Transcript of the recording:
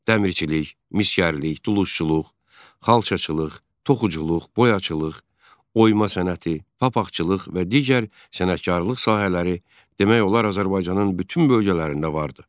Dəmirçilik, misgərlik, dulusçuluq, xalçaçılıq, toxuculuq, boyaçılıq, oyma sənəti, papaqçılıq və digər sənətkarlıq sahələri demək olar Azərbaycanın bütün bölgələrində vardı.